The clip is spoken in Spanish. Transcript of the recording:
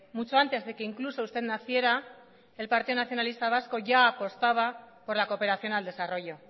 mucho antes de que incluso usted naciera el partido nacionalista vasco ya apostaba por la cooperación al desarrollo